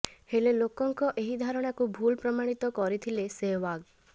ହେଲେ ଲୋକଙ୍କ ଏହି ଧାରଣାକୁ ଭୁଲ ପ୍ରମାଣିତ କରିଥିଲେ ସେହଓ୍ବାଗ